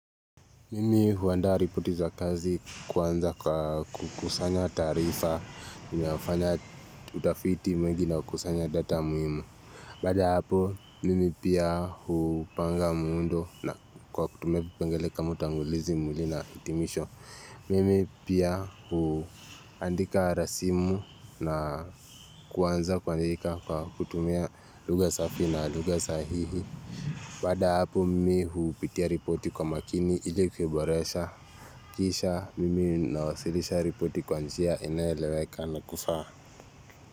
Mimi huandaa ripoti za kazi kwanza kwa kukusanya taarifa, nafanya utafiti mwingi na kukusanya data muhimu. Baada ya hapo, mimi pia hupanga muundo na kwa kutumia vipengele ka utangulizi mwili na hitimisho. Mimi pia huandika rasimu na kuanza kuandika kwa kutumia lugha safi na lugha sahihi. Baada ya hapo mimi hupitia ripoti kwa makini ili kuboresha Kisha mimi nawasilisha ripoti kwa njia inayoeleweka na kufaa.